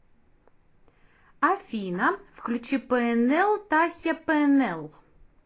афина включи пээнэл тахиа пээнэл